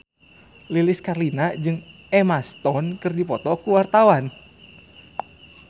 Lilis Karlina jeung Emma Stone keur dipoto ku wartawan